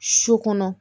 Su kɔnɔ